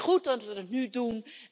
Maar het is goed dat we het nu doen.